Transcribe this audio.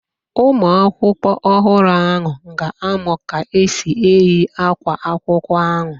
Ụmụakwụkwọ ọhụrụ ahụ ga-amụ ka e si eyi ákwá akwụkwọ ahụ.